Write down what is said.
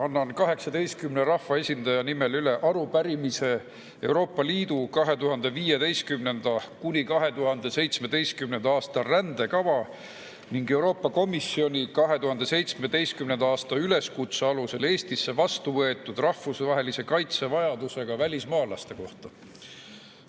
Annan 18 rahvaesindaja nimel üle arupärimise Euroopa Liidu 2015.–2017. aasta rändekava ning Euroopa Komisjoni 2017. aasta üleskutse alusel Eestisse vastu võetud rahvusvahelise kaitse vajadusega välismaalaste kohta.